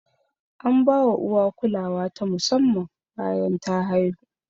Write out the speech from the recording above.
Ana bawa uwa kulawa ta musamman bayan ta haihu.